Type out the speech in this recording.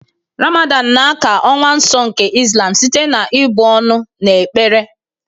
Ramadan na ákà ọnwa nsọ nke Islam site na ị̀bụ ọnụ na ekpere.